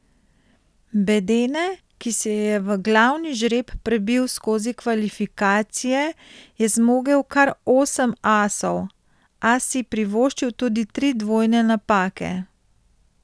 Bedene, ki se je v glavni žreb prebil skozi kvalifikacije, je zmogel kar osem asov, a si privoščil tudi tri dvojne napake.